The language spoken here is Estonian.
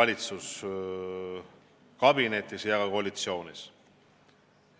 valitsuskabinetis ja ka koalitsioonis.